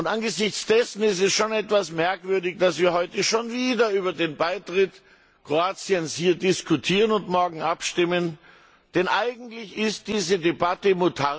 Angesichts dessen ist es schon etwas merkwürdig, dass wir heute schon wieder über den Beitritt Kroatiens diskutieren und morgen abstimmen, denn eigentlich ist diese Debatte